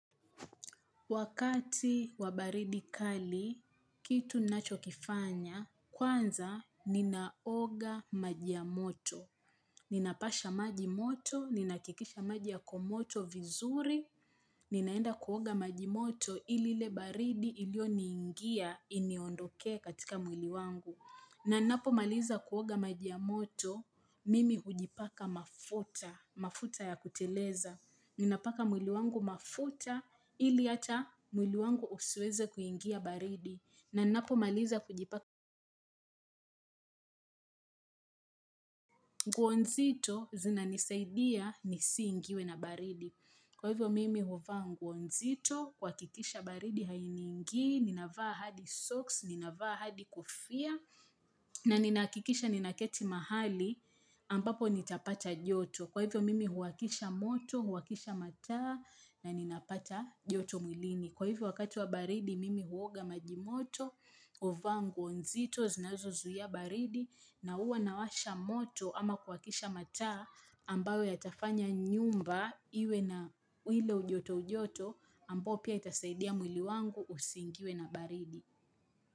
Wakati wabaridi kali, kitu ninacho kifanya, kwanza ninaoga maji ya moto. Ninapasha majimoto, ninahakikisha maji yako moto vizuri, ninaenda kuoga majimoto ili ile baridi ilio niingia iniondoke katika mwili wangu. Na napo maliza kuoga maji ya moto, mimi hujipaka mafuta, mafuta ya kuteleza, ninapaka mwili wangu mafuta ili hata mwili wangu usweze kuingia baridi, na ninapo maliza hujipaka nguo nzito zinanisaidia nisingiwe na baridi. Kwa hivyo mimi huwa nguo nzito, kuhakikisha baridi hainingi, ninafaa hadi socks, ninafaa hadi kofia na ninahakikisha ninaketi mahali ambapo nitapata joto. Kwa hivyo mimi huwakisha moto, huwakisha mataa na ninapata joto mwilini. Kwa hivyo wakati wa baridi mimi huoga majimoto, huvaa nguo nzito zinazo zuiya baridi na uwa nawasha moto ama kuwakisha mataa ambayo yatafanya nyumba iwe na wile ujoto ujoto ambayo pia itasaidia mwili wangu usingiwe na baridi.